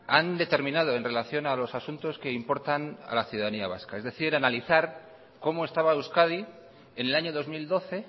han determinado en relación a los asuntos que importan a la ciudadanía vasca es decir analizar cómo estaba euskadi en el año dos mil doce